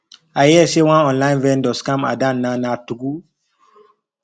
i hear say one online vendor scam adanna na true